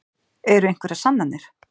Eru einhverjar sannanir?